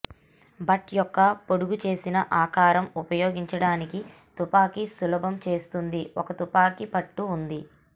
but యొక్క పొడుగుచేసిన ఆకారం ఉపయోగించడానికి తుపాకీ సులభం చేస్తుంది ఒక తుపాకీ పట్టు ఉంది